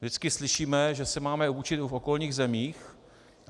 Vždycky slyšíme, že se máme učit v okolních zemích.